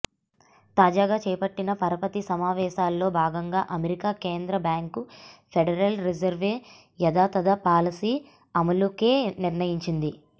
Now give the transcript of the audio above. తాజాగా చేపట్టిన పరపతి సమావేశాలలో భాగంగా అమెరికా కేంద్ర బ్యాంకు ఫెడరల్ రిజర్వ్ యథాతథ పాలసీ అమలుకే నిర్ణయించింది